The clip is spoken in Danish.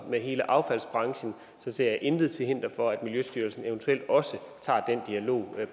med hele affaldsbranchen ser jeg intet til hinder for at miljøstyrelsen eventuelt også tager den dialog